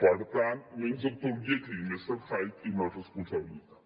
per tant menys doctor jekyll i mister hyde i més responsabilitat